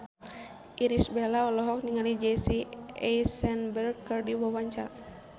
Irish Bella olohok ningali Jesse Eisenberg keur diwawancara